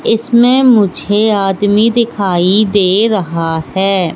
इसमें मुझे आदमी दिखाई दे रहा है।